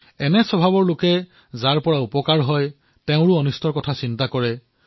এনে স্বভাৱৰ লোকে হিতৈষীসকলৰো লোকচান কৰে